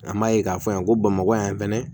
An b'a ye k'a fɔ yan ko bamakɔ yan fɛnɛ